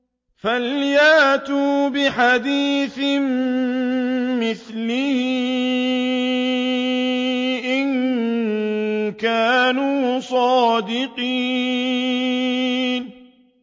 فَلْيَأْتُوا بِحَدِيثٍ مِّثْلِهِ إِن كَانُوا صَادِقِينَ